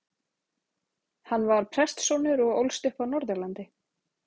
Hann var prestssonur og ólst upp á Norðurlandi.